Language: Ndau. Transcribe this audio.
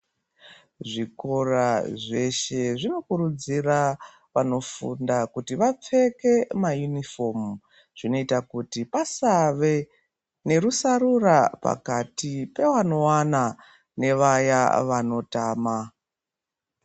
Zvikora zveshe zvinokurudzira vanofunda kuti vapfeke mayunifomu zvinoita kuti pasave nerusarura pakati pevanowana nevaya vanotama.